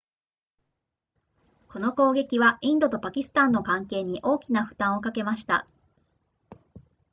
この攻撃はインドとパキスタンの関係に大きな負担をかけました